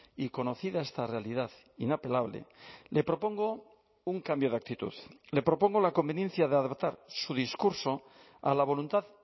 y conocida esta realidad inapelable le propongo un cambio de actitud le propongo la conveniencia de adaptar su discurso a la voluntad